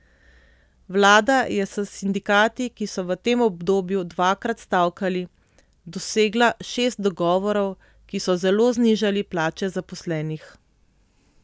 Vlada je s sindikati, ki so v tem obdobju dvakrat stavkali, dosegla šest dogovorov, ki so zelo znižali plače zaposlenih.